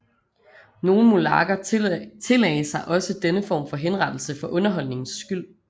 Nogle monarker tillagde sig også denne form for henrettelse for underholdningens skyld